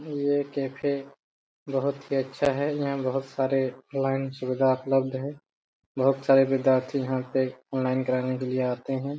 ये कैफे बहुत ही अच्छा ही है यहां बहुत सारे क्लाइंट्स वगेरा उपलब्ध है बहुत सारे विद्यार्थी यहां पे ऑनलाइन कराने के लिए आते है।